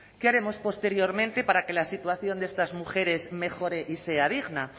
qué haremos posteriormente para que la situación de estas mujeres mejore y sea digna